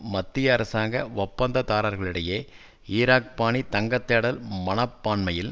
மத்திய அரசாங்க ஒப்பந்தக்காரர்களிடையே ஈராக்பாணி தங்கத்தேடல் மனப்பான்மையில்